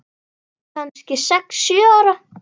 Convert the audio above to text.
Kannski sex, sjö ára.